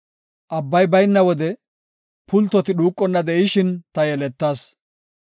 Abbay bayna wode, pultoti dhuuqonna de7ishin ta yeletas.